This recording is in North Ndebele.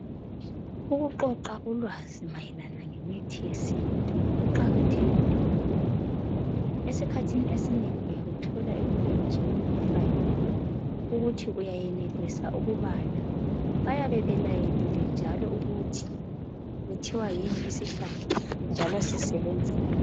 Ukuqoqa ulwazi mayelana ngemithi yesintu kuqakathekile kakhulu , esikhathini esinengi , uyabuthola ebulenjini bufakiwe ukuthi uyayenelisa ukubala bayabe belayelile njalo ukuthi okuthiwa yini isihlahla njalo sisebenzani